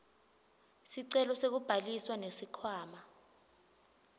sicelo sekubhalisa nesikhwama